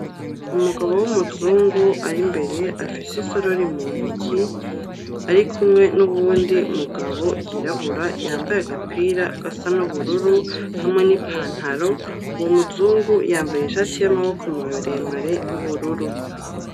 Umugabo w'umuzungu ari mbere afise isorori mu ntoki, ari kumwe n'uwundi mugabo yirabura yambaye agapira gasa n'ubururu hamwe n'ipantaro, uwo muzungu yambaye ishati y'amaboko maremare y'ubururu.